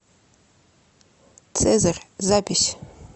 цезарь запись